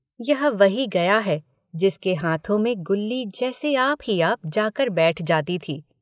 यह वही गया है जिसके हाथों में गुल्ली जैसे आप ही आप जाकर बैठ जाती थी।